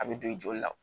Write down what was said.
A bɛ don i joli la